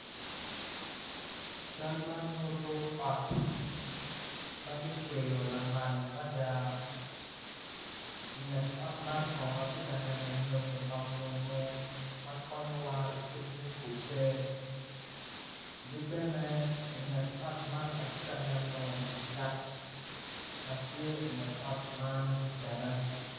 Cal man nyuto ot ma kicweyo lamal mada inget ot man kono atye ka neno nyonyo pa munu ma konyowa ikit me kube ki bene inget ot man atye ka neno yat ma tye inget ot man bene.